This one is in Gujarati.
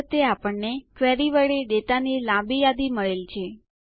આ વખતે આપણને ક્વેરી વડે ડેટાની લાંબી યાદી મળેલ છે